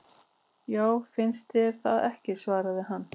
Já, finnst þér það ekki svaraði hann.